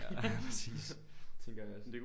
Ja præcis tænker jeg også